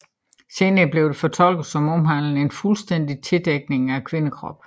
Senere blev det fortolket som omhandlende en fuldstændig tildækning af kvindekroppen